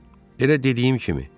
Elə dediyim kimi.